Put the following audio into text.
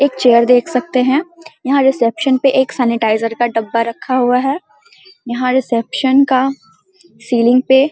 एक चेयर देख सकते है यहां रिसेप्शन सैनिटाइजर का डब्बा रखा हुआ है यहां रिसेप्शन का सीलिंग पे --